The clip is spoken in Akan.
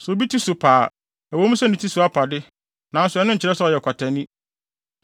“Sɛ obi ti so pa a, ɛwɔ mu sɛ ne ti so apa de, nanso ɛno nkyerɛ sɛ ɔyɛ ɔkwatani!